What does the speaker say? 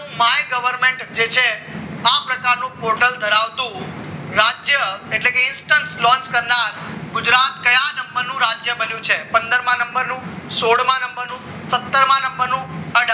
માઈ government જે છે આ બધાનું portal ધરાવતું રાજ્ય એટલે કે instant launch કરનાર ગુજરાત કયા નંબરનું રાજ્ય બન્યું છે પંદર માં નંબરનો સોઢ માં નંબરનો સત્તર માં નંબરનો અઢાર